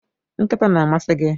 nkịta na-amasị gị?